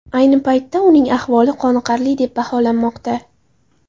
Ayni paytda uning ahvoli qoniqarli deb baholanmoqda.